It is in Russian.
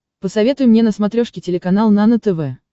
посоветуй мне на смотрешке телеканал нано тв